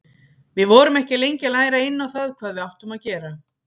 Við vorum ekki lengi að læra inn á það hvað við áttum að gera.